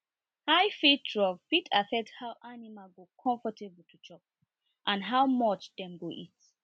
high feed trough fit affect how animal go comfortable to chop and how much dem go eat